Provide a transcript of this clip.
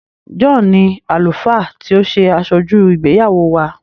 John ní Àlùfáà tí o ṣe Asoju ìgbéyàwó wá.